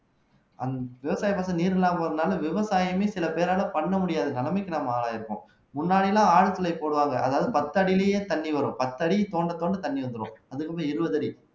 அந் விவசாயத்துக்கு நீர் இல்லாம இருந்தாலும் விவசாயமே சில பேரால பண்ண முடியாத நிலைமைக்கு நம்ம ஆளாயிருக்கோம் முன்னாடி எல்லாம் ஆழ்துளை போடுவாங்க அதாவது பத்து அடியிலேயே தண்ணி வரும் பத்தடி தோண்ட தோண்ட தண்ணி வந்துரும் இருபது அடி